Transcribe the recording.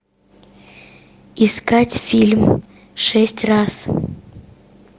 искать фильм шесть раз